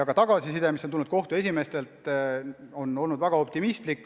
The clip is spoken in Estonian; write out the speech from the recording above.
Ka tagasiside, mis on tulnud kohtute esimeestelt, on olnud väga optimistlik.